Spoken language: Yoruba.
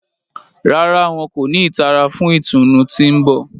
Ràrá, wọn ko ni ìtara fún ìtùnú tí n bọ